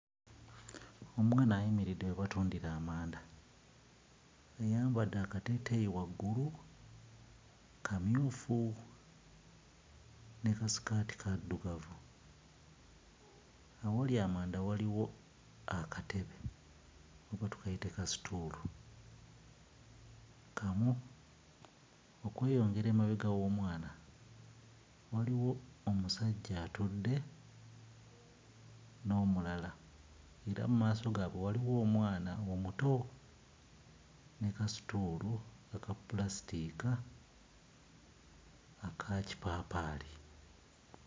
Omwana ayimiridde we batundira amanda, ayambadde akateeteeyi waggulu kamyufu ne kasikaati kaddugavu, awali amanda waliwo akatebe oba tukayite ka-stool kamu, okweyongera emabega w'omwana waliwo omusajja atudde n'omulala era mu maaso gaabwe waliwo omwana omuto ne ka-stool aka ppulasitika akakipaapaali.